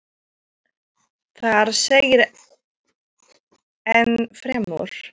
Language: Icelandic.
Þar segir enn fremur